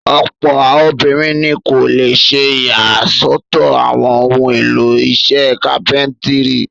Ọ̀pọ̀ obìnrin ni kò le ṣe ìyàsọ́tọ̀ àwọn ohun-èlò iṣẹ́ kápẹ́ńtírì.